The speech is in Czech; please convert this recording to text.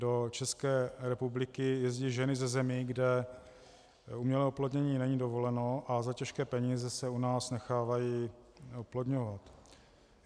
Do České republiky jezdí ženy ze zemí, kde umělé oplodnění není dovoleno, a za těžké peníze se u nás nechávají oplodňovat.